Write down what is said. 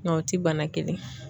N ka o ti bana kelen ye.